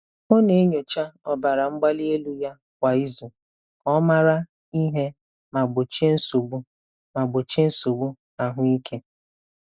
Ọ na-enyocha ọbara mgbali elu ya kwa izu ka ọ mara ihe ma gbochie nsogbu ma gbochie nsogbu ahụike.